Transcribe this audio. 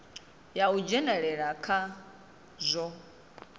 ya u dzhenelela kha zwa